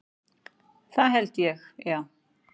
Það held ég, já.